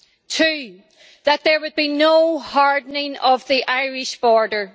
two, that there would be no hardening of the Irish border